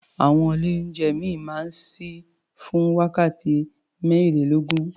Àwọn ilé-oúnjẹ ìmíì máa ń ṣí fún wákàtí mẹ́rìnlélógún.